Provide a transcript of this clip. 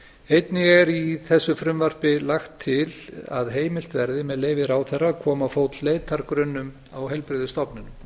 einnig er í þessu frumvarpi lagt til að heimilt verði með leyfi ráðherra að koma á fót leitargrunnum á heilbrigðisstofnun